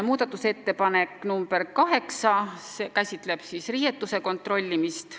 Muudatusettepanek nr 8 käsitleb riiete kontrollimist.